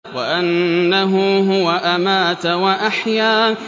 وَأَنَّهُ هُوَ أَمَاتَ وَأَحْيَا